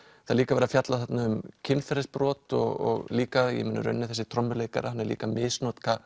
það er líka verið að fjalla þarna um kynferðisbrot og líka í rauninni þessi trommuleikari hann er líka að misnota